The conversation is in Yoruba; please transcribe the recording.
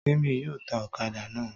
Témi yóò ta ọ̀kadà náà.